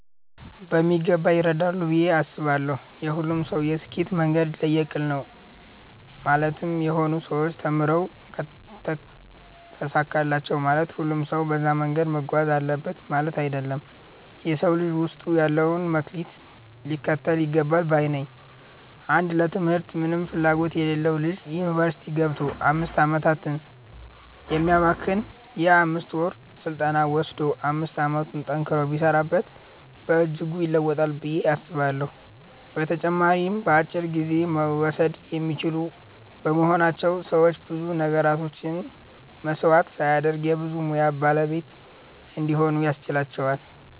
በሚገባ ይረዳሉ ብዬ አስባለው። የሁሉም ሰው የስኬት መንገድ ለየቅል ነው ማለትም የሆኑ ሰዎች ተምረው ተሳካላቸው ማለት ሁሉም ሰው በዛ መንገድ መጓዝ አለበት ማለት አይደለም። የ ሰው ልጅ ውስጡ ያለውን መክሊት ሊከተል ይገባል ባይ ነኝ። አንድ ለ ትምህርት ምንም ፍላጎት የሌለው ልጅ ዩኒቨርስቲ ገብቶ 5 አመታትን ከሚያባክን የ 5ወር ስልጠና ወሰዶ 5 አመቱን ጠንክሮ ቢሰራበት በእጅጉ ይለወጣል ብዬ አስባለሁ። በተጨማሪም በአጭር ጊዜ መወሰድ የሚችሉ በመሆናቸው ሰዎች ብዙ ነገራቸውን መስዋዕት ሳያደርጉ የ ብዙ ሙያ ባለቤት እንዲሆኑ ያስችላቸዋል።